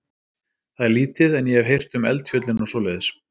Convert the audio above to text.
Það er lítið, en ég hef heyrt um eldfjöllin og svoleiðis.